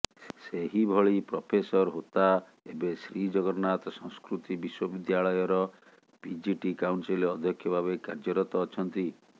ସେହିଭଳି ପ୍ରଫେସର ହୋତା ଏବେ ଶ୍ରୀଜଗନ୍ନାଥ ସଂସ୍କୃତି ବିଶ୍ୱବିଦ୍ୟାଳୟର ପିଜିଟି କାଉନସିଲ ଅଧ୍ୟକ୍ଷ ଭାବେ କାର୍ଯ୍ୟରତ ଅଛନ୍ତି